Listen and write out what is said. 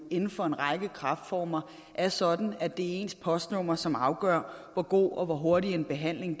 inden for en række kræftformer er sådan at det er ens postnummer som afgør hvor god og hvor hurtig en behandling